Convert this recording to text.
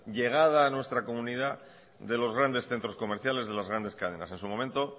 llegada a nuestra comunidad de los grandes centros comerciales de las grandes cadenas en su momento